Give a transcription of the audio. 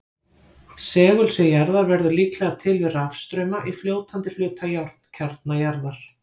Segulsvið jarðar verður líklega til við rafstrauma í fljótandi hluta járnkjarna jarðar.